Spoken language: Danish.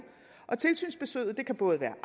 tilsynsbesøget kan både være